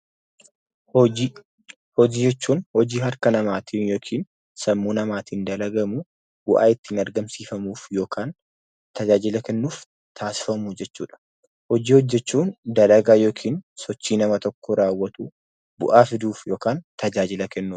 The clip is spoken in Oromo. Hojii. Hojii jechuun hojii harka namaatiin yookin sammuu namaatiin dalagamuu, bu'aa ittiin argamsiifamuuf yookan tajaajila kennuuf taasifamu jechuudha. Hojii hojjechuun dalagaa yookin sochii nama tokko raawwatu bu'aa fiduuf yokaan tajaajila kennuuf.